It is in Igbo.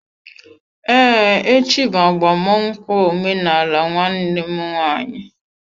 Ee, echi bụ agbamnụkwu omenaala nwanne m nwanyị.